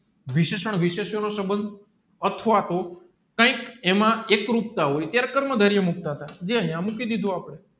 વિશેષણ વિશેષણ નો સબંધ અથવા તો કૈક એમાં એકરૂપતા હોય કર્મ ધારિયા મુક્ત તા જે અહીંયા મૂકી દીધા આપડે